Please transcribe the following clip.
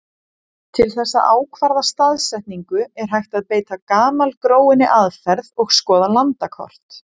Til þess að ákvarða staðsetningu er hægt að beita gamalgróinni aðferð og skoða landakort.